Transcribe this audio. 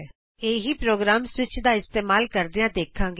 ਅਸੀਂ ਇਹੀ programme switch ਦਾ ਇਸਤੇਮਾਲ ਕਰਦਿਆਂ ਦੇਖਾਂਗੇ